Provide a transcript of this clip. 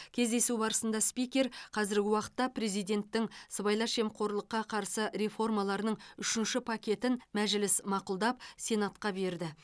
кездесу барысында спикер қазіргі уақытта президенттің сыбайлас жемқорлыққа қарсы реформаларының үшінші пакетін мәжіліс мақұлдап сенатқа берді